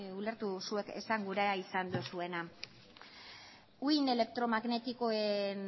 ulertu zuek esan gura izan duzuena uhin elektromagnetikoen